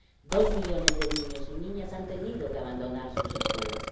dos millones de niños y niñas han tenido que abandonar sus escuelas